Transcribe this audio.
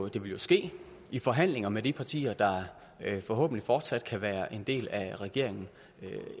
det vil jo ske i forhandlinger med de partier der forhåbentlig fortsat kan være en del af regeringen